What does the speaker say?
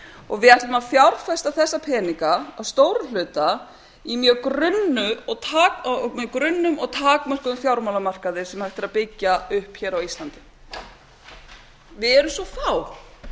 og við ætlum að fjárfesta þessa peninga að stórum hluta í grunnum og takmörkuðum fjármálamarkaði sem hægt er að byggja upp á íslandi við erum svo fá staðan er meira